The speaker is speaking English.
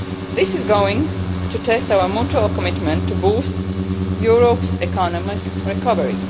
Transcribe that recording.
This is going to test our mutual commitment to boost Europe's economic recovery.